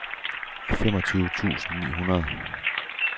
femogtyve tusind ni hundrede